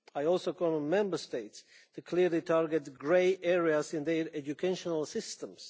I also call on Member States clearly to target grey areas in their educational systems.